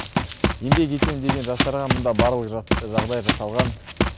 еңбек етемін деген жастарға мында барлық жағдай жасалған